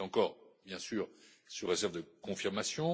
C'est encore, bien sûr, sous réserve de confirmation.